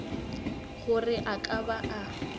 gore a ka ba a